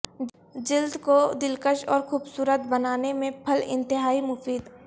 جلد کو دلکش اور خوبصورت بنانے میں پھل انتہائی مفید